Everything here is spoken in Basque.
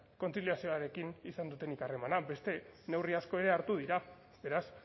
kontziliazioarekin izan dutenik harremanak beste neurri asko ere hartu dira beraz